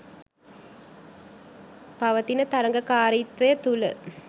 පවතින තරගකාරීත්වය තුල